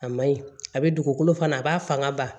A ma ɲi a bɛ dugukolo fana a b'a fanga ba